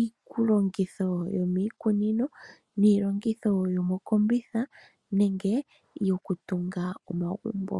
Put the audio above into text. iilongitho yomiikunino, niilongitho yomokombitha nenge yokutunga omagumbo.